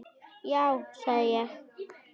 Já sagði ég.